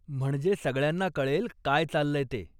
म्हणजे सगळ्यांना कळेल काय चाललंय ते.